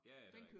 Ja ja det rigtig